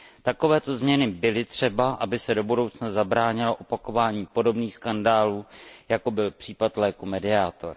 Takovéto změny byly třeba, aby se do budoucna zabránilo opakovaní podobných skandálů, jako byl případ léku Mediator.